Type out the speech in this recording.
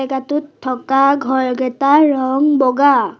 টোত থকা ঘৰ এইগেটাৰ ৰঙ বগা।